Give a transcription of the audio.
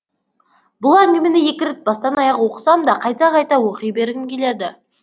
бұл әңгімені екі рет бастан аяқ оқысам да қайта қайта оқи бергім келеді